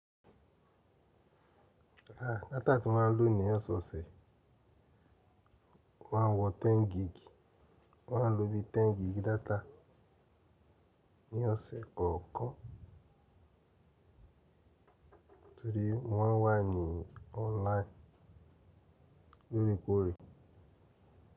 Ah data tí mo maa ń lò ní osee ose o maa ń wọ 10 gig mo maa ń lo bí i 10 gig data ní ọ̀sẹ̀ẹ̀ kọ̀ọ̀kan torí mo maa n wà ní online lóòrèkóòrè.